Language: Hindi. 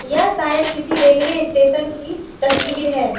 यह शायद किसी रेलवे स्टेशन की तस्वीर है।